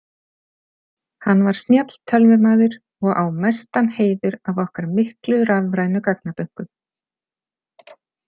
Hann var snjall tölvumaður og á mestan heiður af okkar miklu rafrænu gagnabönkum.